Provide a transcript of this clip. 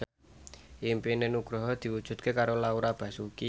impine Nugroho diwujudke karo Laura Basuki